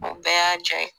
O bɛɛ y'a jaa ye